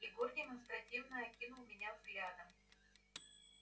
егор демонстративно окинул меня взглядом